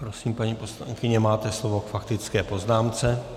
Prosím, paní poslankyně, máte slovo k faktické poznámce.